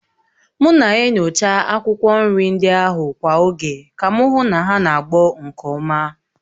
M na-enyocha akwụkwọ nri ndị ahụ kwa oge ka m hụ na ha na-agbọ nke ọma